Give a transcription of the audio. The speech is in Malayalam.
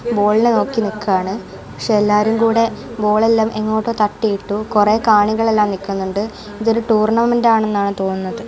ബോളിനെ നോക്കി നിൽക്കുകയാണ് പക്ഷേ എല്ലാരും കൂടെ ബോൾ എല്ലാം എങ്ങോട്ടോ തട്ടിയിട്ടു കുറേ കാണികളെല്ലാം നിൽക്കുന്നുണ്ട് ഇതൊരു ടൂർണമെൻറ് ആണ് എന്നാണ് തോന്നുന്നത്.